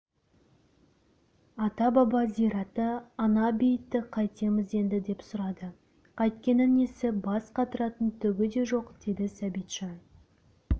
ата-баба зираты ана-бейітті қайтеміз енді деп сұрады қайткені несі бас қатыратын түгі де жоқ деді сәбитжан